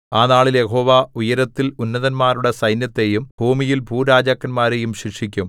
ആ നാളിൽ യഹോവ ഉയരത്തിൽ ഉന്നതന്മാരുടെ സൈന്യത്തെയും ഭൂമിയിൽ ഭൂരാജാക്കന്മാരെയും ശിക്ഷിക്കും